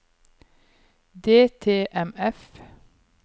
DTMF